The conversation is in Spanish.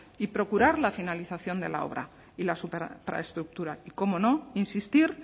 y procurar la finalización de la obra y las superinfraestructuras y cómo no insistir